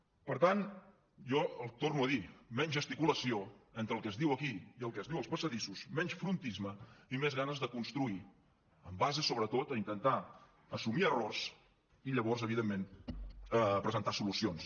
per tant jo ho torno a dir menys gesticulació entre el que es diu aquí i el que es diu als passadissos menys frontisme i més ganes de construir en base sobretot a intentar assumir errors i llavors evidentment a presentar solucions